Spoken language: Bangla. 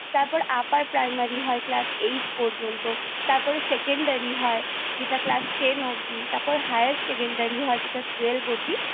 তারপর Upper Primary হয় Class Eight পর্যন্ত তারপরে Secondary হয় যেটা Class Ten অবধি তারপর Higher Secondary যেটা Class Twelve অবধি